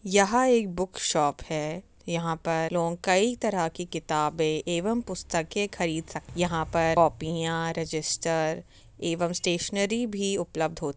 यह एक book shop है। यहाँ पर लोग कई तरह की किताबें एवं पुस्तके खरीद सक। यहाँ पर कॉपियाँ रजिस्टर एवं स्टेशनरी भी उपलब्ध होती --